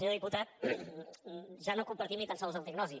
senyor diputat ja no compartim ni tan sols la diagnosi